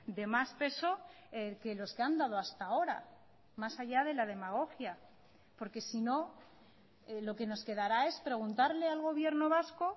de más peso que los que han dado hasta ahora más allá de la demagogia porque sino lo que nos quedará es preguntarle al gobierno vasco